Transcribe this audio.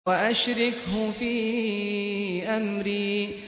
وَأَشْرِكْهُ فِي أَمْرِي